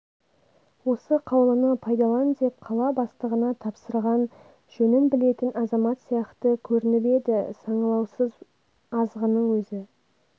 осы қаулыны пайдалан деп қала бастығына тапсырған жөнін білетін азамат сияқты көрініп еді саңылаусыз азғынның өзі